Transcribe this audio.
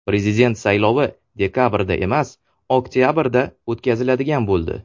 Prezident saylovi dekabrda emas, oktabrda o‘tkaziladigan bo‘ldi .